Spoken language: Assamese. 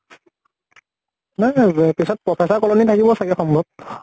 নাই নাই পিছত professor colony থাকিব চাগে সম্ভব।